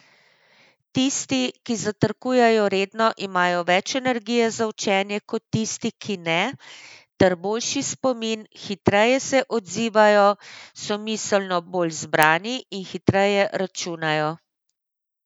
Tisti, ki zajtrkujejo redno, imajo več energije za učenje kot tisti, ki ne, ter boljši spomin, hitreje se odzivajo, so miselno bolj zbrani in hitreje računajo.